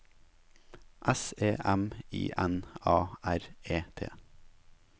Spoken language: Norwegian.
S E M I N A R E T